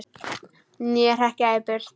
Né hrekja í burt!